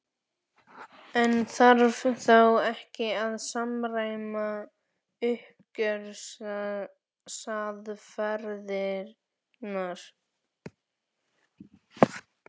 En þarf þá ekki að samræma uppgjörsaðferðirnar?